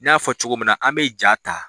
N ya fɔ cogo min na, an b'i ja ta.